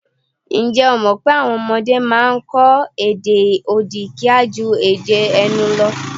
Ǹjẹ́ o mọ̀̀ pé àwọn ọmọdé a máa kọ èdè odi kíá ju èdè ẹnu lọ?